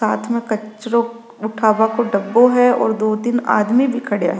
साथ में कचरो उठवों को डब्बों है और दो तीन आदमी भी खड़ा है।